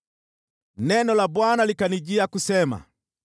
Neno la Bwana likanijia kusema: